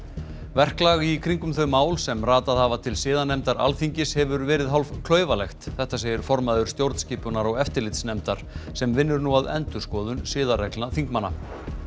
verklag í kringum þau mál sem ratað hafa til siðanefndar Alþingis hefur verið hálf klaufalegt þetta segir formaður stjórnskipunar og eftirlitsnefndar sem vinnur nú að endurskoðun siðareglna þingmanna